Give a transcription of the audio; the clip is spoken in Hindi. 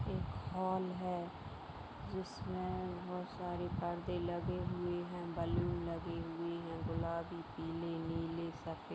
एक हॉल है जिसमे बहुत सारे पर्दे लगे हुए हैं बैलून लगे हुए हैं गुलाबी पीले नीले सफ़े--